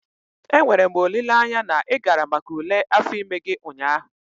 Enwere m olileanya na ị gara maka ule afọ ime gị ụnyaahụ?